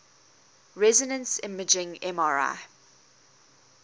resonance imaging mri